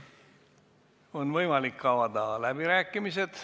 On võimalik avada läbirääkimised.